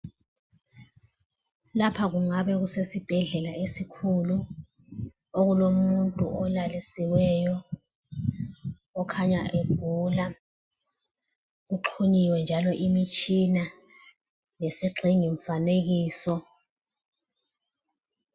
Lapho kungabe kusesibhedlela esikhulu ,okulomuntu olalisiweyo okhanya egula, uxhunyiwe njalo imitshina ngesigxingi mfanekiso.